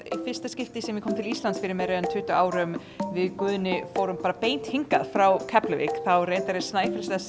fyrsta skipti sem ég kom til Íslands fyrir meira en tuttugu árum við Guðni fórum bara beint hingað frá Keflavík þá reyndar er Snæfellsnes